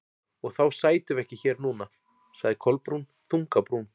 Og þá sætum við ekki hér núna- sagði Kolbrún, þung á brún.